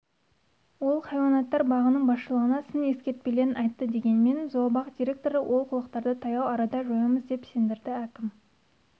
ол хайуанаттар бағының басшылығына сын-ескертпелерін айтты дегенмен зообақ директоры олқылықтарды таяу арада жоямыз деп сендірді әкім